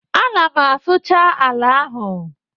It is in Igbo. Ana m asụcha ala ahụ